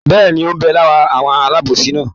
Bẹ́ẹ̀ni, ó ń bẹ lára àwọn alábòsí náà?